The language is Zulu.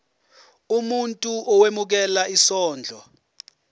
umuntu owemukela isondlo